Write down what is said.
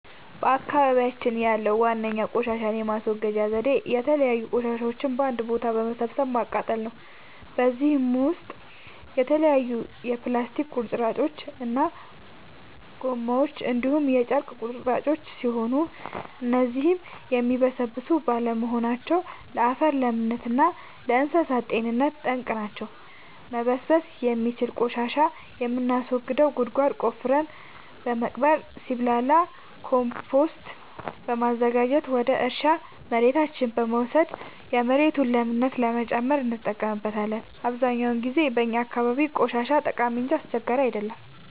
በአካባቢያችን ያለዉ ዋነኛ ቆሻሻን የማስወገጃ ዘዴ የተለያዩ ቆሻሻዎችን በአንድ ቦታ በመሰብሰብ ማቃጠል ነው። በዚህም ውስጥ የተለያዩ የፕላስቲክ ቁርጥራጮች እና ጎማዎች እንዲሁም የጨርቅ ቁራጮች ሲሆኑ እነዚህም የሚበሰብሱ ባለመሆናቸው ለአፈር ለምነት እና ለእንሳሳት ጤንነት ጠንቅ ናቸው። መበስበስ የሚችል ቆሻሻን የምናስወግደው ጉድጓድ ቆፍረን በመቅበር ሲብላላ ኮምቶስት በማዘጋጀት ወደ እርሻ መሬታችን በመውሰድ የመሬቱን ለምነት ለመጨመር እንጠቀምበታለን። አብዛኛውን ጊዜ በእኛ አካባቢ ቆሻሻ ጠቃሚ እንጂ አስቸጋሪ አይደለም።